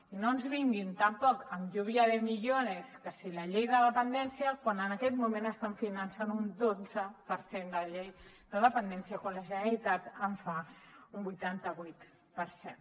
i no ens vinguin tampoc amb lluvia de millones que si la llei de dependència quan en aquest moment estan finançant un dotze per cent de la llei de dependència quan la generalitat en fa un vuitanta vuit per cent